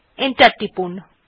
enter টিপুন